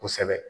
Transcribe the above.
Kosɛbɛ